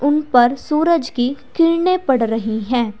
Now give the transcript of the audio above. उन पर सूरज की किरणे पड़ रही हैं।